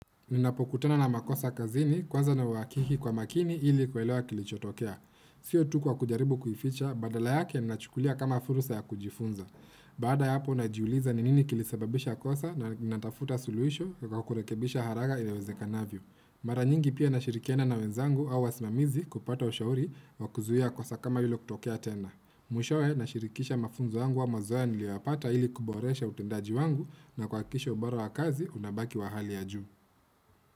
Ninapokutana na makosa kazini kwanza nahakiki kwa makini ili kuelewa kilichotokea. Sio tu kwa kujaribu kuificha, badala yake nachukulia kama fursa ya kujifunza. Baada ya hapo najiuliza ni nini kilisababisha kosa na natafuta suluhisho kwa kurekebisha haraka iwezekanavyo. Mara nyingi pia nashirikiana na wenzangu au wasimamizi kupata ushauri wa kuzuia kosa kama hilo kutokea tena. Mwishowe nashirikisha mafunzo yangu au mazoea niliyoyapata ili kuboresha utendaji wangu na kuhakikisha ubora wa kazi unabaki wa hali ya juu.